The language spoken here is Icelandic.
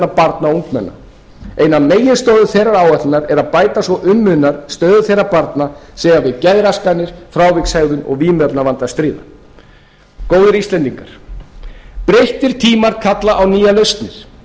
barna og ungmenna ein af meginstoðum þeirrar áætlunar er að bæta svo um munar stöðu þeirra barna sem eiga við geðraskanir frávikshegðun og vímuefnavanda að stríða góðir íslendingar breyttir tímar kalla á nýjar lausnir